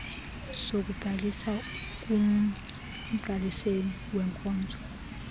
sokubhalisa kumgqaliseli weenkonzo